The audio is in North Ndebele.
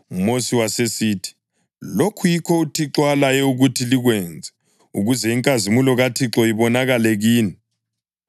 UMosi wasesithi, “Lokhu yikho uThixo alaye ukuthi likwenze, ukuze inkazimulo kaThixo ibonakale kini.”